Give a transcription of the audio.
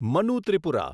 Manu Tripura